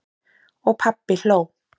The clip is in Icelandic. Og pabbi hló.